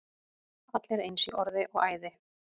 Allir eins í orði og æði.